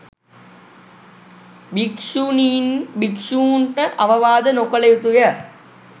භික්‍ෂුණීන් භික්‍ෂූන්ට අවවාද නොකළ යුතු ය.